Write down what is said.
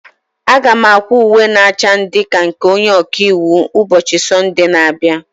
Aga m akwa uwe na acha ndị ka nke onye ọka iwu ụbọchị Sọnde na-abịa.